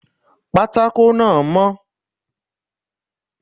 Pátákó náà mó